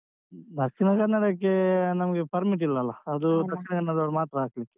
ದಕ್ಷಿಣ ಕನ್ನಡಕ್ಕೆ ನಮ್ಗೆ permit ಇಲ್ಲ ಅಲ ಅದು ದಕ್ಷಿಣ ಕನ್ನಡದವರು ಮಾತ್ರ ಹಾಕ್ಲಿಕ್ಕೆ.